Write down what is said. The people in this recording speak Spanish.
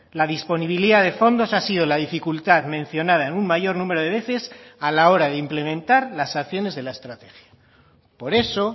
la disponibilidad de fondos ha sido la dificultad mencionada en un mayor número de veces a la hora de implementar las acciones de la estrategia por eso